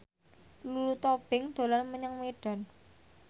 Lulu Tobing dolan menyang Medan